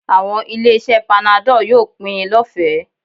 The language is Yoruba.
Àwọn ilé-iṣẹ́ panadol yóò máa pín in lọ́fẹ̀ẹ́